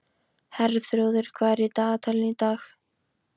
Herþrúður, hvað er í dagatalinu í dag?